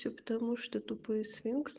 всё потому что тупые сфинкс